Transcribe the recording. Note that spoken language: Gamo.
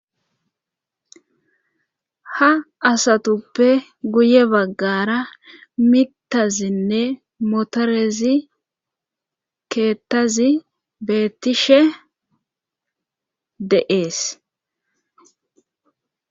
Ha asatuppe guye baggara mitazinne motorezi keettazi beettishe de7ees